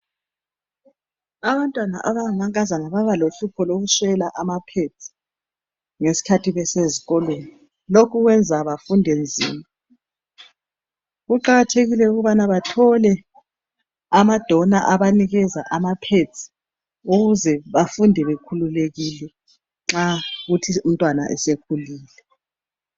Abantwana abangamankazana babalehlupho lokuswela amaphenzi, ngeskhathi besezikolweni. Lokhu kuyenza bafunde nzima. Kuqakathekile ukubana bathole amadona abanikeza amaphenzi, ukuze bafunde bekhululekile, nxa kuyikuthi umntwana sekulile.